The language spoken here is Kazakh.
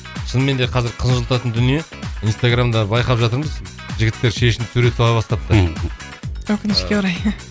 шынымен де қазір қынжылтатын дүние инстаграмда байқап жатырмыз жігіттер шешініп сурет сала бастапты өкінішке орай